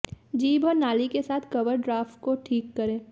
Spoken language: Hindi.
जीभ और नाली के साथ कवर ड्राफ्ट को ठीक करें